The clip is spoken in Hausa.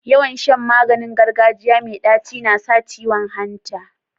Yawan Shan maganin gargajiya me taci nasa ciwon hanta